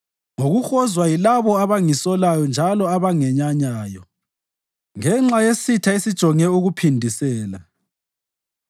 ngokuhozwa yilabo abangisolayo njalo abangenyanyayo, ngenxa yesitha esijonge ukuphindisela.